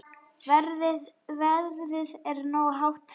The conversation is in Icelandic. Verðið er nógu hátt fyrir.